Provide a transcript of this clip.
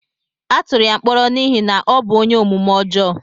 Atụrụ ya mkpọrọ n'ihi na ọ bụ ónyé omume ọjọọ